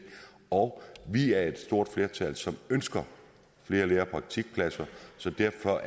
og vi er et stort flertal som ønsker flere lære og praktikpladser så derfor